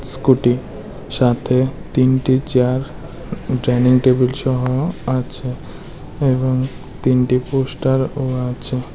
Scooty সাথে তিনটি chair dining টেবিলসহ আছে এবং তিনটি পোস্টারও আছে।